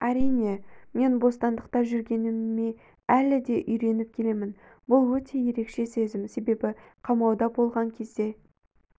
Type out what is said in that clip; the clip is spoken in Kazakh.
әрине мен бостандықта жүргеніме әлі де үйреніп келемін бұл өте ерекше сезім себебі қамауда болған кезде